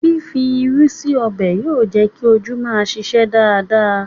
Fífi irú sí ọbẹ̀ yóò jẹ́ kí ojú máa ṣiṣẹ́ dáradára